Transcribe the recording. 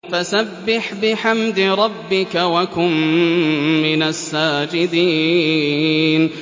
فَسَبِّحْ بِحَمْدِ رَبِّكَ وَكُن مِّنَ السَّاجِدِينَ